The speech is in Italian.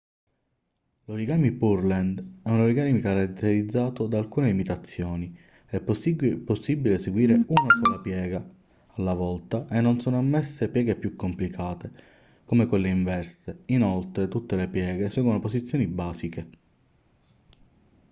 l'origami pureland è un origami caratterizzato da alcune limitazioni è possibile eseguire una sola piega alla volta e non sono ammesse pieghe più complicate come quelle inverse inoltre tutte le pieghe seguono posizioni basiche